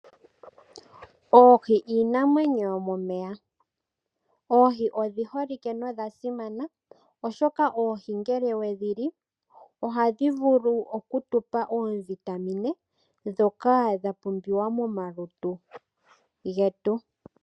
Oohi iinamwenyo yo momeya. Oohi odhi holike nodha simana, oshoka oohi ngele wedhi li ohadhi vulu oku tupa oovitamine ndhoka dha pumbiwa mo malutu getu.